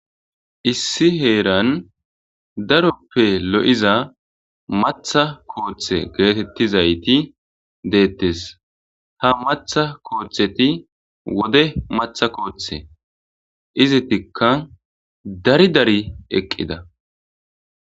issi heeran daroppe lo7iza maththaa kooththe geetettizayti de7ettes ha matha kooththeti wode maththaa kooththe izitikka dari dari eqqida